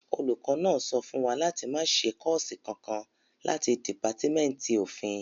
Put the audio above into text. Olùkọ́ náà sọ fún wa láti máa ṣe kọ́ọ̀sì kankan láti dìpátímẹ́ǹtì òfin